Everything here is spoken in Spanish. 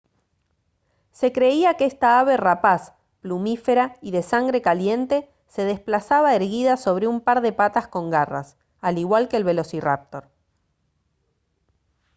se creía que esta ave rapaz plumífera y de sangre caliente se desplazaba erguida sobre un par de patas con garras al igual que el velociráptor